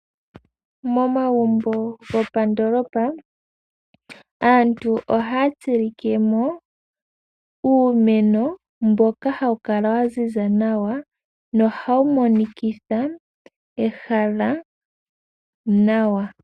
Momagumbo gopandoolopa aantu ohaya tsilikemo uumeno mboka hawu kala wa ziza nawa nohawu monikitha ehala nawa.